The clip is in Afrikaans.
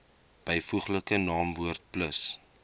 byvoeglike naamwoord plus